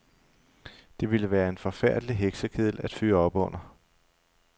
Det ville være en forfærdelig heksekedel at fyre op under.